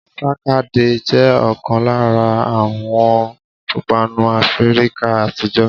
Sàkàdá jẹ́ ọ̀kan lára àwọn ìpanu áfíríkà àtijọ́